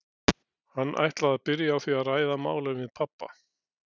Hann ætlaði að byrja á því að ræða málin við pabba.